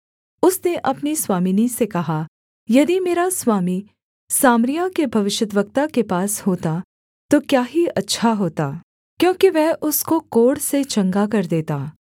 उसने अपनी स्वामिनी से कहा यदि मेरा स्वामी सामरिया के भविष्यद्वक्ता के पास होता तो क्या ही अच्छा होता क्योंकि वह उसको कोढ़ से चंगा कर देता